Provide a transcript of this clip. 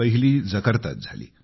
पहिली जकार्तात झाली